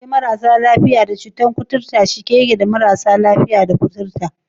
Gidan marasa lafiya da cutar kuturta cike yake da mutanen da ke fama da cutar kuturta?